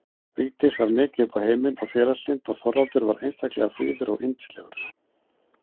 Vigdís var mikið upp á heiminn og félagslynd og Þorvaldur var einstaklega fríður og yndislegur.